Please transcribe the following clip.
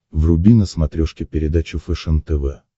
вруби на смотрешке передачу фэшен тв